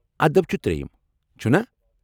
ادب چھ تریٚیم، چھُنا؟